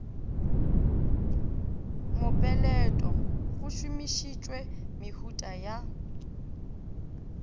mopeleto go šomišitšwe mehuta ya